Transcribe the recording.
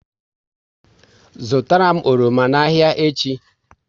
Zụtara m oroma n'ahia echi!